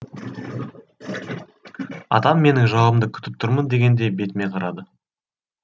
атам менің жауабымды күтіп тұрмын дегендей бетіме қарады